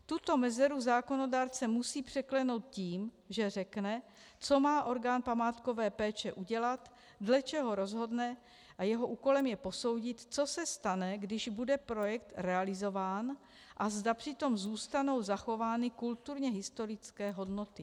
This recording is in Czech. Tuto mezeru zákonodárce musí překlenout tím, že řekne, co má orgán památkové péče udělat, dle čeho rozhodne, a jeho úkolem je posoudit, co se stane, když bude projekt realizován, a zda přitom zůstanou zachovány kulturně historické hodnoty.